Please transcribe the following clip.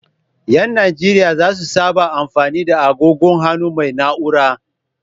Ƴan najeriya zasu saba da mafani da agogon hannu mai na'ura.